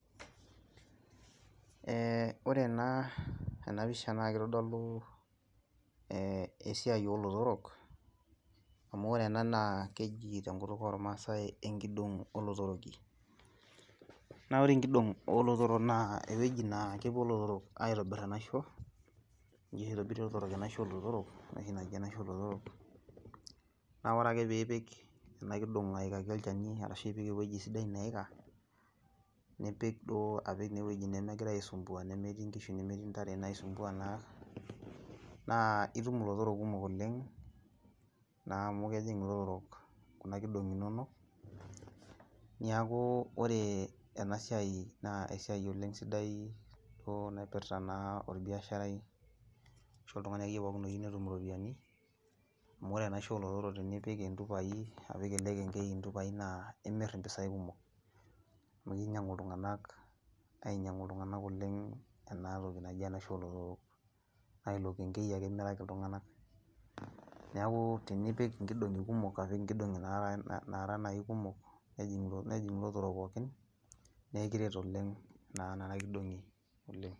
Eeh orenaa enapisha naakeitodoluu eeh esiai olotorok amu orena naa keji tenkutuk ormasai enkidong' olotoroki. Naa ore enkidong' oolotorok naa ewueji naakepuo lotorok aitobirr enaisho, ninche oshi eitobirie lotorok enaisho olotorok, noshi naji enaisho olotorok. Naa ore ake piipik ena kidong' aikaki olchani ashu piipik ewueji sidai naika, nipik duoo apik neewueji nemegira aisumbua nemetii nkishu nemetii ntare naisumbua naa naa itum lotorok kumok oleng' naamu kejing' ilotorok kuna kidong'i inonok niakuu ore enasiai naaesiai oleng' sidai duo naipirta naa olbiasharai ashu oltung'ani akeyie pookin oyiu netum iropiani amu ore enaisho olotorok tinipik intupai , apik elekenkei intupai naa imirr impisai kumok. Amu keinyang'u iltung'anak ainyang'u iltung'anak oleng' enatoki naji enaisho olotorok. Nailokenkei ake imiraki iltung'ana. Neakuu tinipik inkidong'i kumok apik inkidong'i naara, naaranai kumok nejing' ilotorok pookin neekiret oleng' naa nena kidong'i oleng'.